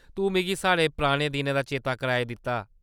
तूं मिगी साढ़े पुराने दिनें दा चेता कराई दित्ता।